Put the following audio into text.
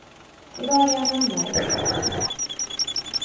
I dag är han hemma igen.